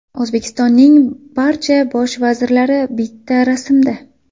O‘zbekistonning barcha bosh vazirlari bitta rasmda.